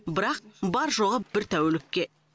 бірақ бар жоғы бір тәулікке